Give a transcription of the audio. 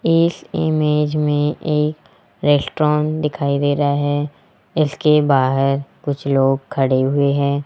एक इमेज में एक रेस्टोरेंट दिखाई दे रहा है। इसके बाहर कुछ लोग खड़े हुए हैं।